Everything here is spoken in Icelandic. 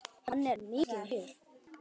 Hann er mikið í mér.